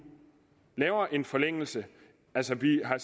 laver en forlængelse altså vi har